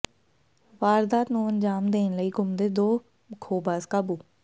ਵਾਰਦਾਤ ਨੂੰ ਅੰਜਾਮ ਦੇਣ ਲਈ ਘੁੰਮਦੇ ਦੋ ਖੋਹਬਾਜ਼ ਕਾਬੂ